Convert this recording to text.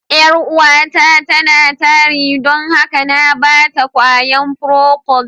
Yar'uwata tana tari don haka na ba ta ƙwayan "procold".